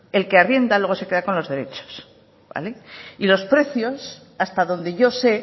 el que arrienda luego se queda con los derechos vale y los precios hasta donde yo sé